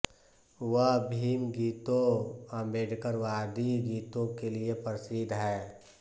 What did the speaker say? वह भीम गीतों आम्बेडकरवादी गीतों के लिए प्रसिद्ध हैं